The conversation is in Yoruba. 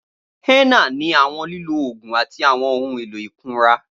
Henna ni awọn lilo oogun ati awọn ohun elo ikunra.